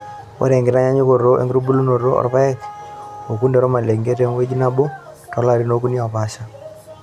Ore enkitanyanyukoto na enkitubulunoto orpaek, okunde wormalenge tengweji nabo tolarin okuni opaasha.